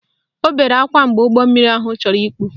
Ọ bere akwa mgbe ụgbọmmiri ahụ chọrọ ikpu